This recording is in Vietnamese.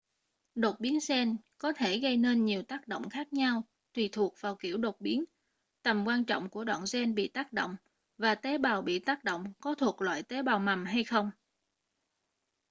đột biến gen có thể gây nên nhiều tác động khác nhau tùy thuộc vào kiểu đột biến tầm quan trọng của đoạn gen bị tác động và tế bào bị tác động có thuộc loại tế bào mầm hay không